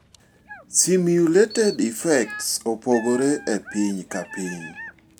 Simulated effects opogore epiny ka piny.